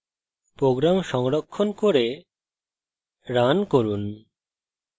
program সংরক্ষণ করে run run